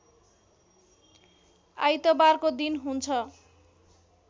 आइतबारको दिन हुन्छ